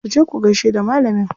Ku je ku gaishe da malamin.